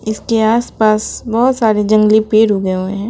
इसके आसपास बहोत सारे जंगली पेड़ उगे हुए हैं।